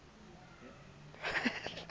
r j r masiea e